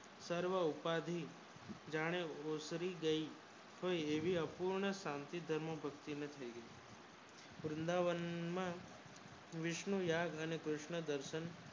સર્વ ઉપાદી જાણે બેસરી ગયા ને એવી અપુણે શાંતિ ભક્તિ નથી વૃંદાવન માં વિષ્ણુ યાદ અને કૃષ્ન દર્શન